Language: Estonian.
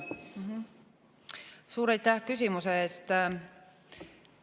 Suur aitäh küsimuse eest!